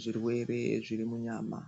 zvirwere zviri munyama.